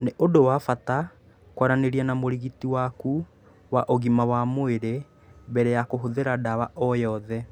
Nĩ ũndũ wa bata kwaranĩria na mũrigiti waku wa ũgima wa mwĩrĩ mbere ya kũhũthĩra ndawa o yothe.